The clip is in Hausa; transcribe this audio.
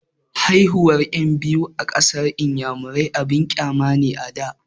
Haihuwan ƴan biyu a ƙasar inyamurai abun ƙyama ne a da